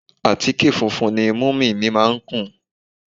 Àtíkè funfun ni múmì mi má ń kùn